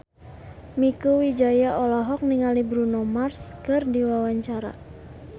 Mieke Wijaya olohok ningali Bruno Mars keur diwawancara